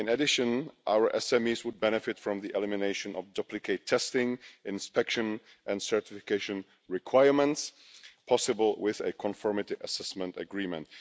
In addition, our SMEs would benefit from the elimination of duplicate testing, inspection and certification requirements that would be possible with a conformity assessment agreement.